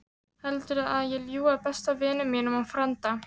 Heldurðu að ég ljúgi að besta vini mínum og frænda?